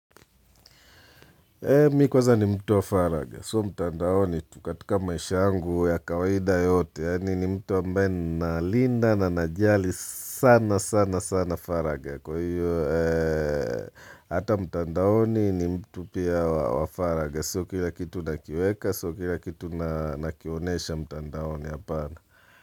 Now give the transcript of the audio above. Mi kwanza ni mtu wa faragha, so mtandaoni tu katika maishay angu ya kawaida yote, yani ni mtu ambaye ninalinda na najali sana sana sana faragha kwa hiyo, ee, Hata mtandaoni ni mtu pia wa faragha, so kila kitu nakiweka, so kila kitu nakionesha mtandaoni hapana.